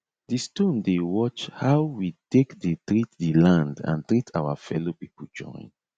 di stone dey watch how we take dey treat di land and treat our fellow pipo join